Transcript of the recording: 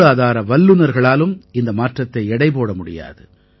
பொருளாதார வல்லுநர்களாலும் இந்த மாற்றத்தை எடை போட முடியாது